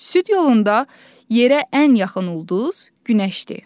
Süd yolunda yerə ən yaxın ulduz günəşdir.